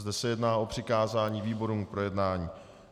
Zde se jedná o přikázání výborům k projednání.